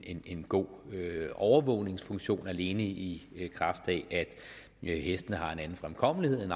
en god overvågningsfunktion alene i i kraft af at hestene har en anden fremkommelighed